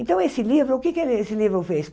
Então, esse livro, o que é que esse livro fez?